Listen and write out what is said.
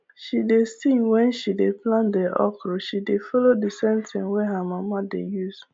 she dey sing wen she dey plant the okra she dey follow the same tin wey her mama dey use